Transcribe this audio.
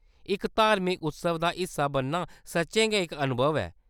इक धार्मिक उत्सव दा हिस्सा बनना सच्चें गै इक अनुभव ऐ।